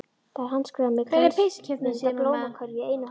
Það er handskrifað með glansmynd af blómakörfu í einu horninu.